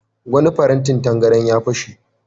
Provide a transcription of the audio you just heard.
Wani farantin tangaran ya fashe.